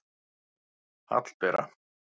Hallbera